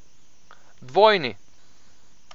Dvojni!